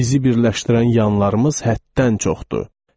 Bizi birləşdirən yanlarımız həddən çoxdur.